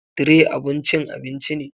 Tray abun cin abinci ne.